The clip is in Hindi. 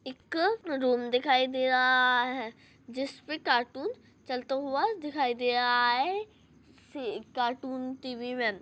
एक रूम दिखाई दे रहा है जिसमे कार्टून चलता हुआ दिखाई दे रहा है। कार्टून टीवी मे--